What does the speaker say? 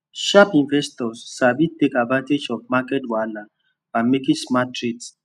sharp investors sabi take advantage of market wahala by making smart trades